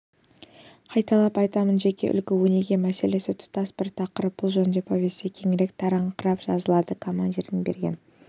қайталап айтамын жеке үлгі-өнеге мәселесі тұтас бір тақырып бұл жөнінде повесте кеңірек таратыңқырап жазылады командирдің берген